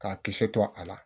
K'a kisɛ to a la